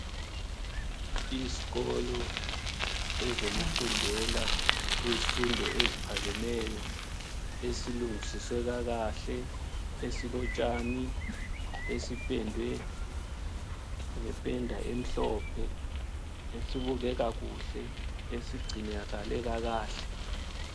Izkolo ezokufundela izifundo eziphakemeyo esilungisiswe kahle esilotshani. Esipendwe ngempenda emhlophe. Esibukeka kuhle esigcinakale kakahle.